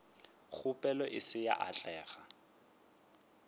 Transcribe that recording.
kgopelo e se ya atlega